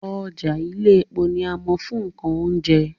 Ọjà Iléepo ni a mọ̀ fún nǹkan oúnjẹ